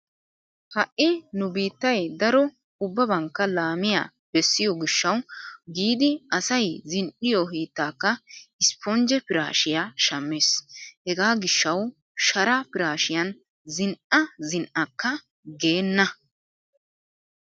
Ha"i nu biittay daro ubbabankka laamiya bessiyo gishshawu giidi asay zen"iyo hiittaakka isppinjje piraashiya shammees. Hegaa gishshawu sharaa piraashiyan zin"a zin"akka geenna.